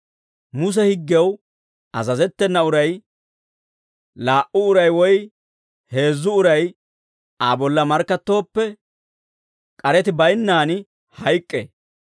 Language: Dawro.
Muse higgew azazettena uray, laa"u uray woy heezzu uray Aa bolla markkattooppe, k'areti baynnaan hayk'k'ee.